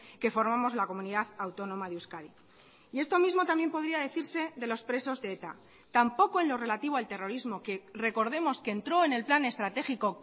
que formamos la comunidad autónoma de euskadi y esto mismo también podría decirse de los presos de eta tampoco en lo relativo al terrorismo que recordemos que entró en el plan estratégico